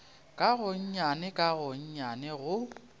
ka gonnyane ka gonnyane go